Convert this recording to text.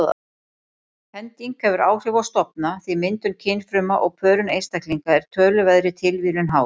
Hending hefur áhrif á stofna því myndun kynfruma og pörun einstaklinga er töluverðri tilviljun háð.